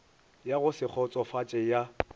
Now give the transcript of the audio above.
ya go se kgotsofatše ya